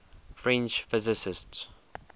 french physicists